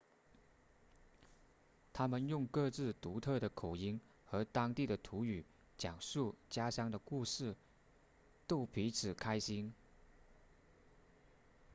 他们用各自独特的口音和当地的土语讲述家乡的故事逗彼此开心